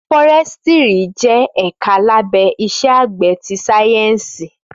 Fọrẹsítìrí jẹ ẹkà làbẹ Ìsẹ àgbẹ ti sàyẹnsí